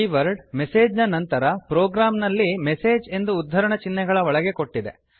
keyword message ನ ನಂತರ ಪ್ರೋಗ್ರಾಂನಲ್ಲಿ ಮೆಸೇಜ್ ಎಂದು ಉದ್ಧರಣ ಚಿಹ್ನೆಗಳ ಒಳಗೆ ಕೊಟ್ಟಿದೆ